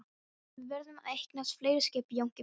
En við verðum að eignast fleiri skip Jónki minn.